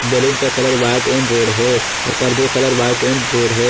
Balloon का colour white and red है और पर्दों का कलर व्हाइट एंड रेड है।